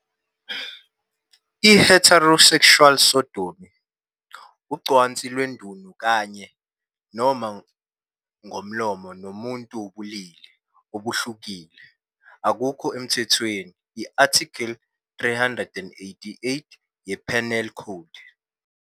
"I-Heterosexual Sodomy ", ucansi lwendunu kanye, noma ngomlomo nomuntu wobulili obuhlukile, akukho emthethweni, i-Article 388 ye-Penal Code.